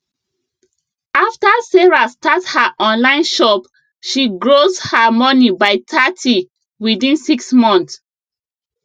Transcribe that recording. after sarah start her online shop she grows her money by thirty within six months